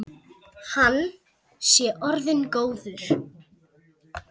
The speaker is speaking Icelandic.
Hann sé orðinn góður.